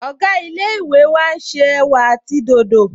Ọ̀gá ilé-ìwé wa n ṣe ẹ̀wà àti dòdò